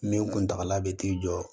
Min kuntagala bɛ t'i jɔ